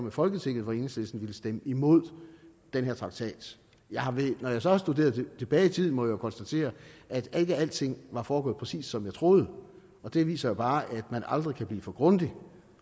i folketinget hvor enhedslisten ville stemme imod den her traktat når jeg så har studeret det tilbage i tiden må jeg jo konstatere at ikke alting har foregået præcis som jeg troede og det viser jo bare at man aldrig kan blive for grundig